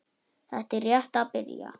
Þetta er rétt að byrja.